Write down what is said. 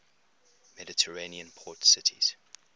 mediterranean port cities